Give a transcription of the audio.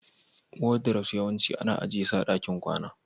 wardrobes yawanci ana ajiye su a cikin ɗakin kwana